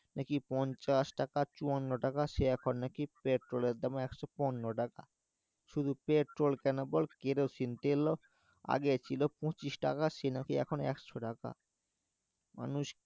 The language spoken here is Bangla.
পঞ্চাশ টাকা চুয়ান্ন টাকা সে এখন নাকি পেট্রোলের একশো পনোরো টাকা শুধু পেট্রোল কেনার পর কেরোসিন তেল ও আগে ছিল পঁচিশ টাকা সে নাকি এখন একশো টাকা মানুষ